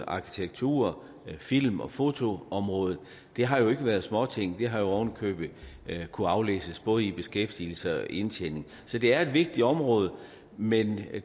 arkitektur film og fotoområdet det har jo ikke været småting det har jo oven i købet kunnet aflæses både i beskæftigelse og indtjening så det er et vigtigt område men